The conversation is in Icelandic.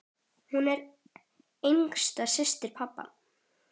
Hún var yngsta systir pabba.